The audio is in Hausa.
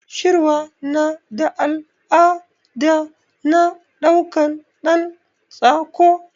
Shirwa nada al'ada na ɗaukan ɗan tsako